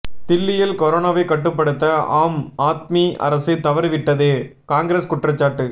தில்லியில் கரோனாவைக் கட்டுப்படுத்தஆம் ஆத்மி அரசு தவறிவிட்டது காங்கிரஸ் குற்றச்சாட்டு